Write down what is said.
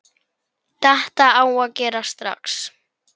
Þetta á að gerast strax.